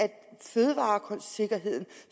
fødevaresikkerheden